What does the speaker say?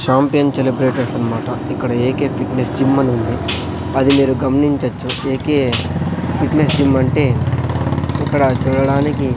champion celebrators అన్మాట ఇక్కడ A K fitness gym అని ఉంది అది మీరు గమనించొచ్చు ఏ కే ఫిట్నెస్ జిమ్ అంటే ఇక్కడ చూడడానికి--